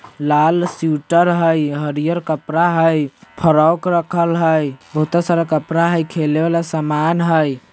लाल sweater हई हरियर कपड़ा हई फ्रोक रखल हई बहुता सारा कपड़ा हई लेखे वाला सामान हई।